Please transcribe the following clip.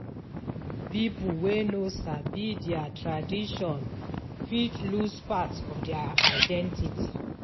Pipo wey no sabi dia tradition fit lose part of dia identity